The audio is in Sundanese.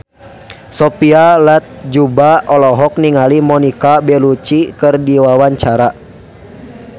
Sophia Latjuba olohok ningali Monica Belluci keur diwawancara